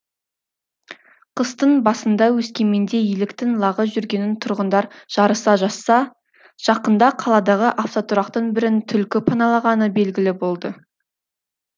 қыстың басында өскеменде еліктің лағы жүргенін тұрғындар жарыса жазса жақында қаладағы автотұрақтың бірін түлкі паналағаны белгілі болды